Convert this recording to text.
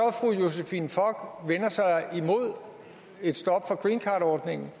fru josephine fock vender sig imod et stop for greencardordningen